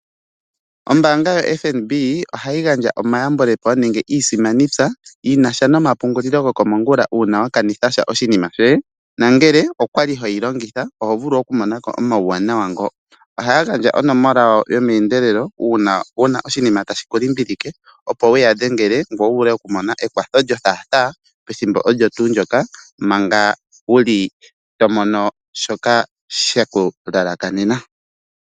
Ombanga yaFNB ohayi gandja omayambulepo nenge isimanitya yinasha nomapungulilo gokomongula una wakanitha sha oshinima shoye nongele okwali hoyi longitha oho vulu oku mona omawuwanawa ngo. Oha gandja onomola yawo yome endelelo una wuna oshinima tashiku limbilike opo wuya dhengele opo wu mone ekwatho lyothathaa ethimbo olyo tuu ndyoka manga wuli tomono shoka shetu lalakanena.